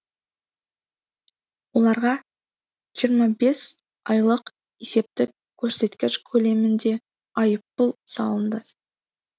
оларға жиырма бес айлық есептік көрсеткіш көлемінде айыппұл салынды